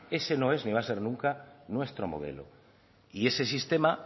ese no es ni va a ser nunca nuestro modelo y ese sistema